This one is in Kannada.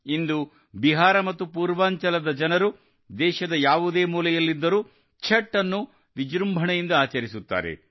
ಇಂದು ಬಿಹಾರ ಮತ್ತು ಪೂರ್ವಾಂಚಲದ ಜನರು ದೇಶದ ಯಾವುದೇ ಮೂಲೆಯಲ್ಲಿದ್ದರೂ ಛಠ್ ಅನ್ನು ವಿಜೃಂಭಣೆಯಿಂದ ಆಚರಿಸುತ್ತಾರೆ